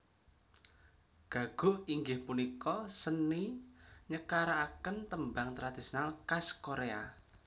Gagok inggih punika seni nyekaraken tembang tradisional khas Korea